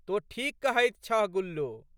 तोँ ठीक कहैत छह गुल्लो।